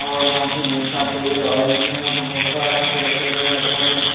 और यहां पर मीठा तेल ऑयल भी यहां पे बहुत सारा रखे हुए है डब्बों में --